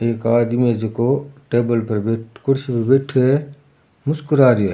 एक आदमी है जेको टेबल पर बे कुर्सी पर बैठ्यो है मुस्कुरा रियो है।